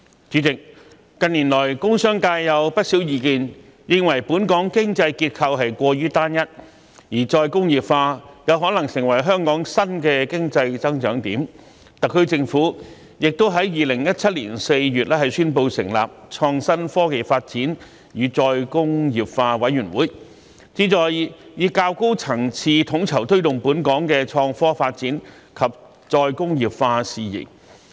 主席，近年來，工商界有不少意見認為，本港經濟結構過於單一，而再工業化有可能成為香港新的經濟增長點，特區政府亦在2017年4月宣布成立創新、科技及再工業化委員會，旨在以較高層次統籌推動本港的創科發展及再工業化事宜。